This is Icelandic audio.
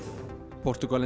Portúgalinn